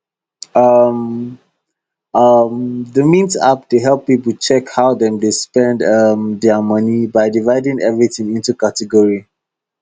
um um the mint app dey help people check how dem dey spend um their money by dividing everything into category